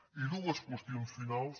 i dues qüestions finals